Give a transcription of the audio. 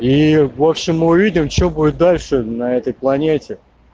и в общем мы увидим что будет дальше на этой планете